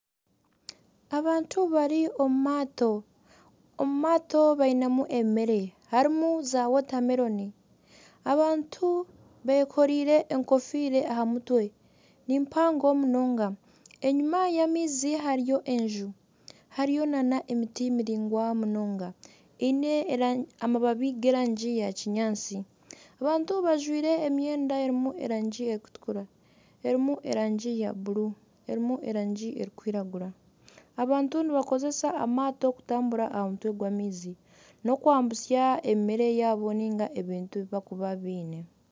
Abantu bari omu maato bainemu ebyokurya , harimu za wotameroni . Abantu bekoreire enkofiira aha mutwe, nimpango munonga. Enyima y'amaizi hariyo enju, hariyo nana emiti miringwa munonga eine amababi g'erangi ya kinyaantsi. Abantu bajwire emyenda erimu erangi erikutukura , erimu erangi ya buuru, erimu erangi erikwiragura . Abantu nibakozesa amaato kutambura aha mutwe gw'amaizi nokwambutsya ebyokurya byabo ningashi ebintu ebi barikuba baine.